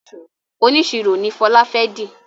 oniṣiro no Fola fè di